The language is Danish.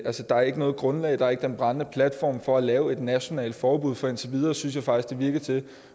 der ikke er noget grundlag der er ikke den brændende platform for at lave et nationalt forbud for indtil videre synes jeg faktisk det